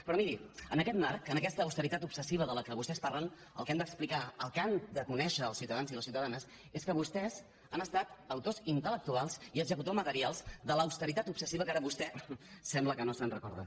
però miri en aquest marc en aquesta autoritat obsessiva de què vostès parlen el que hem d’explicar el que han de conèixer els ciutadans i les ciutadanes és que vostès han estat autors intel·lectuals i executors materials de l’austeritat obsessiva que ara vostè sembla que no se’n recorda